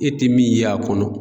E ti min ye a kɔnɔ